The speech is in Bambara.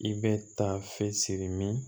I bɛ taa f siri min